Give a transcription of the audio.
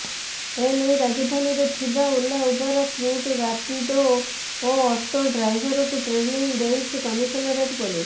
ଏନେଇ ରାଜଧାନୀରେ ଥିବା ଓଲା ଉବେର କ୍ରୁଟ୍ ରାପିଡୋ ଓ ଅଟୋ ଡ୍ରାଇଭରଙ୍କୁ ଟ୍ରେିନିଂ ଦେଇଛି କମିଶନରେଟ ପୋଲିସ